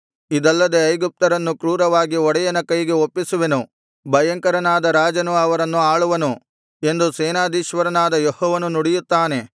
ಇದಲ್ಲದೆ ಐಗುಪ್ತ್ಯರನ್ನು ಕ್ರೂರವಾದ ಒಡೆಯನ ಕೈಗೆ ಒಪ್ಪಿಸುವೆನು ಭಯಂಕರನಾದ ರಾಜನು ಅವರನ್ನು ಆಳುವನು ಎಂದು ಸೇನಾಧೀಶ್ವರನಾದ ಯೆಹೋವನು ನುಡಿಯುತ್ತಾನೆ